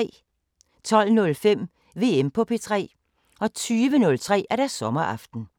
12:05: VM på P3 20:03: Sommeraften